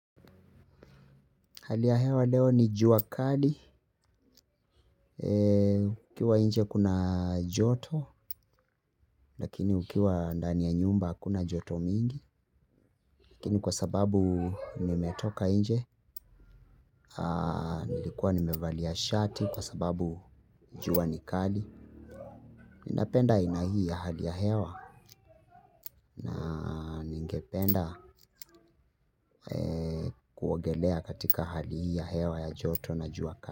Hali ya hewa leo ni jua kali, ukiwa nje kuna joto, lakini ukiwa ndani ya nyumba hakuna joto mingi, lakini kwa sababu nimetoka nje, nilikuwa nimevalia shati, kwa sababu jua ni kali, ninapenda aina hii ya hali ya hewa, ningependa kuogelea katika hali hii ya hewa ya joto na jua kali.